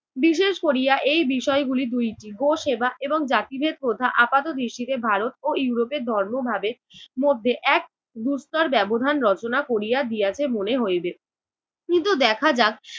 বিশেষ করিয়া এই বিষয়গুলি দুইটি - গো সেবা এবং জাতিভেদ প্রথা আপাত দৃষ্টিতে ভারত ও ইউরোপের ধর্ম ভাবের মধ্যে এক দুস্তর ব্যবধান রচনা করিয়া দিয়াছে মনে হইবে। কিন্তু দেখা যাচ্ছে